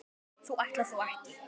þú ætlar þó ekki.